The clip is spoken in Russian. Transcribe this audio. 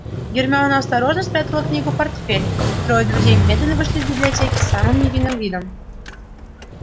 гермиона осторожно спрятала книгу в портфель и трое друзей медленно вышли из библиотеки с самым невинным видом